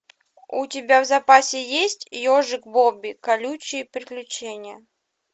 у тебя в запасе есть ежик бобби колючие приключения